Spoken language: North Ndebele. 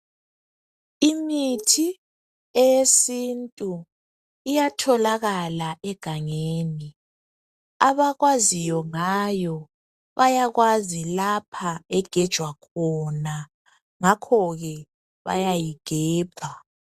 Imithi eyesintu iyatholakala egangeni bakwaziyo ngayo bayakwazi lapha egejwa khona ngakho ke bayayigebha.